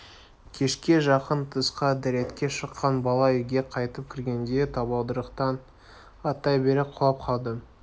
кешке жақын тысқа дәретке шыққан бала үйге қайтып кіргенде табалдырықтан аттай бере құлап қалды